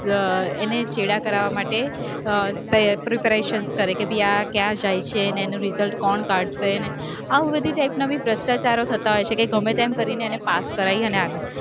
એને છેડા કરાવવા માટે અર preparation કરે કે આ ક્યાં જાય છે ને એનું paper કોણ કાઢશે ને આવું બઘી type ના ભી ભ્રષ્ટાચારો થતા હોય છે કે ગમે તેમ કરીને એને પાસ કરાઈએ ને આગળ